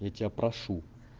я тебя прошу